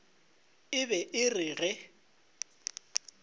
e be e re ge